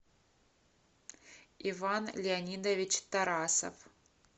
иван леонидович тарасов